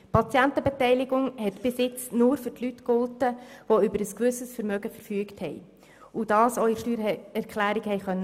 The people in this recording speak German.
Die Patientenbeteiligung hat bisher nur für Leute gegolten, die über ein gewisses Vermögen verfügt haben und dies auch in der Steuererklärung haben angeben können.